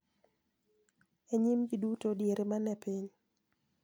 E nyim ji duto diere ma ne piny